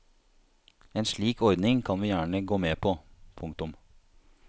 En slik ordning kan vi gjerne gå med på. punktum